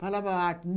Falava alto.